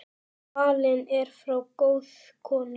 Fallin er frá góð kona.